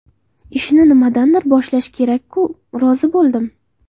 Ishni nimadandir boshlash kerak-ku, rozi bo‘ldim.